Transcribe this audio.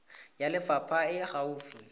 ya lefapha e e gaufi